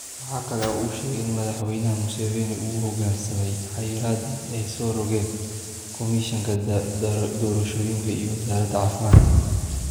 Waxa kale oo uu sheegay in Madaxweyne Muuseveni uu u hoggaansamay xayiraaddii ay soo rogeen Komishanka Doorashooyinka iyo Wasaaradda Caafimaadka.